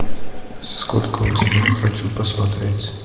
сколько у тебя хочу посмотреть